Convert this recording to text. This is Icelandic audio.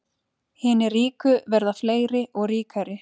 Hinir ríku verða fleiri og ríkari